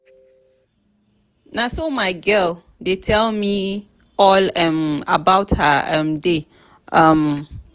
na so my girl dey tell me all um about her um day. um